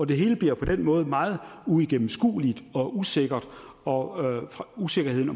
det hele bliver på den måde meget uigennemskueligt og usikkert og usikkerheden